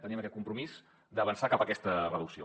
tenim aquest compromís d’avançar cap a aquesta reducció